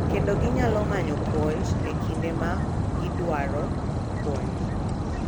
Kendo ginyalo manyo puonj e kinde ma gidwaro puonj.